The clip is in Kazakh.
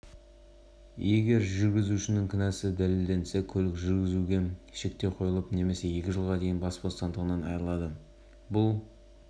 жүргізушіге тармағына сәйкес көлік қозғалысының техникалық ережелері немесе бұзып абайсызда адам денсаулығына ауыр залал келтіргені